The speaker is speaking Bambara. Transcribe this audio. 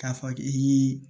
K'a fɔ k'i